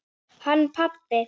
Hann pabbi?